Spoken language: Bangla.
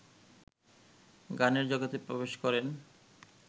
গানের জগতে প্রবেশ করেন